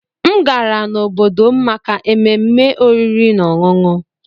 M gara n'obodo m maka ememe oriri na ọṅụṅụ